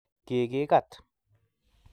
Kikikat